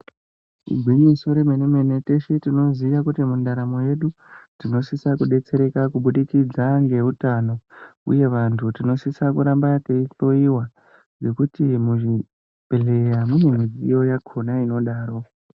Igwinyiso remene mene teshe tinoziya kuti mundaramo yedu tinosisa kudetsereka kubudikidza ngeutano uye vantu tinosisa kuramba teihloyiwa ngekuti muzvibhedhleya mune midziyo yakhona inodaro.